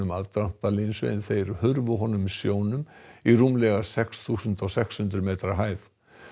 aðdráttarlinsu en þeir hurfu honum sjónum í rúmlega sex þúsund sex hundruð metra hæð